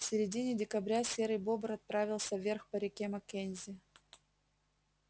в середине декабря серый бобр отправился вверх по реке маккензи